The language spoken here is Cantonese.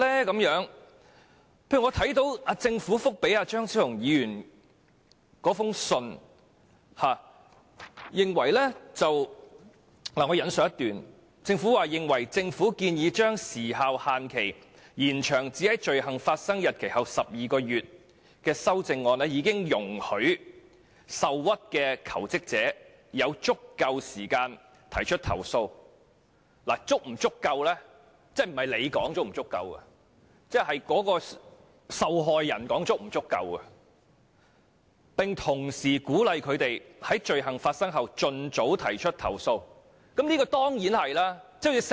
舉例而言，我看到政府對張超雄議員的信件所作的回覆，其中一段提到政府認為建議延長時效限制至在罪行發生的日期後12個月的修正案已容許受屈的求職者有足夠時間提出投訴——時間足夠與否其實應由受害人而非政府決定——並同時鼓勵他們在罪行發生後盡早提出投訴，這當然是正確的。